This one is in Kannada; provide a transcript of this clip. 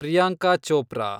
ಪ್ರಿಯಾಂಕಾ ಚೋಪ್ರಾ